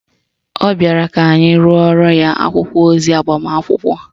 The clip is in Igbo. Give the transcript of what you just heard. Ọ bịara ka anyị rụorọ ya akwụkwọ ozi agbamakwụkwọ